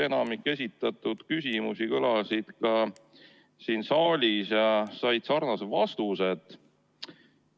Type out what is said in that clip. Enamik esitatud küsimusi kõlas ka siin saalis ja sai sarnase vastuse.